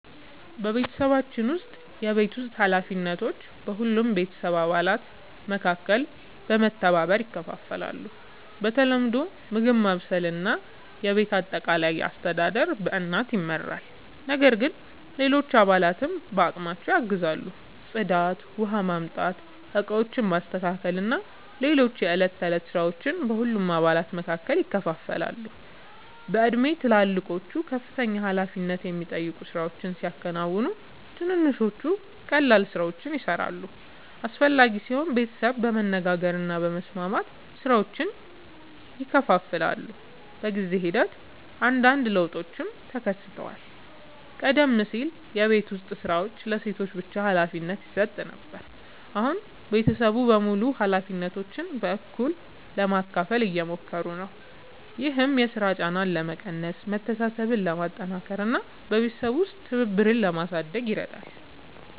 በቤተሰባችን ውስጥ የቤት ውስጥ ኃላፊነቶች በሁሉም የቤተሰብ አባላት መካከል በመተባበር ይከፋፈላሉ። በተለምዶ ምግብ ማብሰል እና የቤት አጠቃላይ አስተዳደር በእናት ይመራል፣ ነገር ግን ሌሎች አባላትም በአቅማቸው ያግዛሉ። ጽዳት፣ ውኃ ማምጣት፣ ዕቃዎችን ማስተካከል እና ሌሎች የዕለት ተዕለት ሥራዎች በሁሉም አባላት መካከል ይከፋፈላሉ። በእድሜ ትልልቆቹ ከፍተኛ ኃላፊነት የሚጠይቁ ሥራዎችን ሲያከናውኑ፣ ትንንሾቹ ቀላል ሥራዎችን ይሠራሉ። አስፈላጊ ሲሆን ቤተሰቡ በመነጋገር እና በመስማማት ሥራዎችን ይከፋፍላል። በጊዜ ሂደት አንዳንድ ለውጦችም ተከስተዋል። ቀደም ሲል የቤት ዉስጥ ሥራዎች ለሴቶች ብቻ ሀላፊነት ይሰጥ ነበር፣ አሁን ቤተሰቡ በሙሉ ኃላፊነቶችን በእኩልነት ለመካፈል እየሞከሩ ነው። ይህም የሥራ ጫናን ለመቀነስ፣ መተሳሰብን ለማጠናከር እና በቤተሰብ ውስጥ ትብብርን ለማሳደግ ይረዳል።